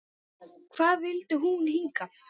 Hvað vildi hún hingað?